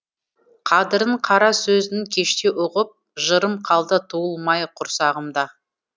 қадірін қара сөздің кештеу ұғып жырым қалды туылмай құрсағымда